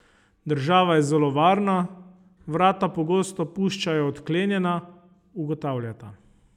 Država je zelo varna, vrata pogosto puščajo odklenjena, ugotavljata.